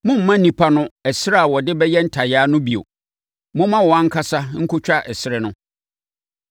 “Mommma nnipa no ɛserɛ a wɔde bɛyɛ ntayaa no bio! Momma wɔn ankasa nkɔtwa ɛserɛ no.